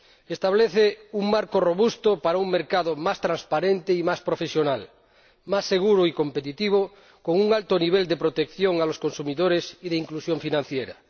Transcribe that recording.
Establece un marco robusto para un mercado más transparente y más profesional, más seguro y competitivo, con un alto nivel de protección de los consumidores y de inclusión financiera.